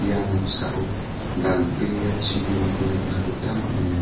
ia noksao dal·bea chibimako nikna gita man·enga.